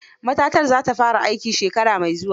Matatar za ta fara aiki shekara mai zuwa.